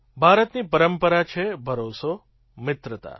ભારતની પરંપરા છે ભરોસો મિત્રતા